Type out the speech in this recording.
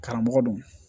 Karamɔgɔ don